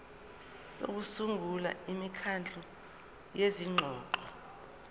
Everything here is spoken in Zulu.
sokusungula imikhandlu yezingxoxo